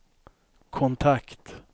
kontakt